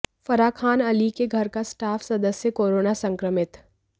फराह खान अली के घर का स्टाफ सदस्य कोरोना संक्रमित